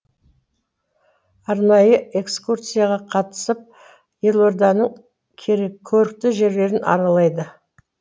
арнайы экскурсияға қатысып елорданың көрікті жерлерін аралады